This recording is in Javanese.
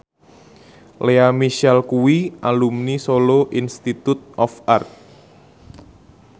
Lea Michele kuwi alumni Solo Institute of Art